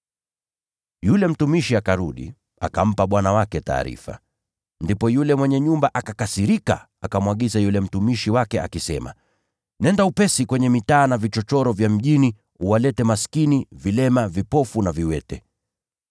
“Yule mtumishi akarudi, akampa bwana wake taarifa. Ndipo yule mwenye nyumba akakasirika, akamwagiza yule mtumishi wake, akisema, ‘Nenda upesi kwenye mitaa na vichochoro vya mjini uwalete maskini, vilema, vipofu na viwete.’